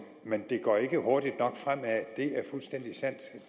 men det går ikke hurtigt nok fremad det er fuldstændig sandt